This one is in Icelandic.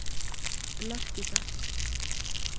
Lerkidal